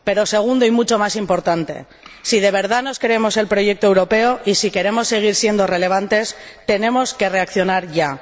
Segundo, y mucho más importante, si de verdad nos creemos el proyecto europeo y si queremos seguir siendo relevantes, tenemos que reaccionar ya.